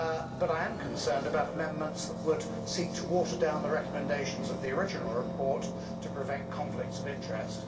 but I am concerned about amendments that would seek to water down the recommendations of the original report to prevent conflicts of interest.